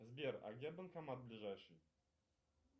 сбер а где банкомат ближайший